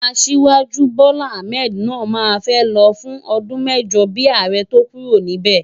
Asiwaju Bola Ahmed náà máa fẹ́ lọ fún ọdún mẹ́jọ bíi ààrẹ tó kúrò níbẹ̀.